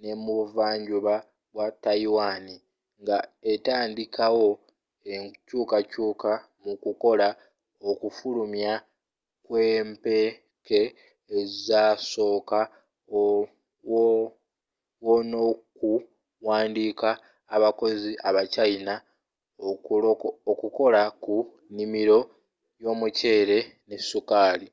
n'ebuva njuba bwa tayiwani nga etandiikawo enkyukakyuka mu kukola okufulumya kw'empeke ezasooka wo n'okuwandiika abakozi aba china okukola ku nnimiro y'omuceere ne sukaali